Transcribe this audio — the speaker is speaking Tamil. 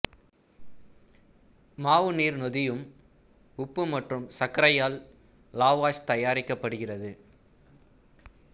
மாவு நீர் நொதியம் உப்பு மற்றும் சர்க்கரையால் லாவாஷ் தயாரிக்கப்படுகிறது